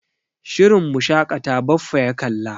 Shirin Mu shaƙata Baffa ya kalla.